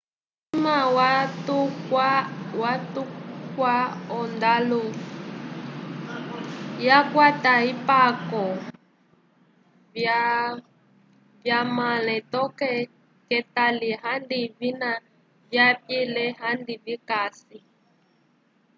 kulima watukwya ondalu yakwata ipako vyamale toke ketali andi avina vyapile andi vikasi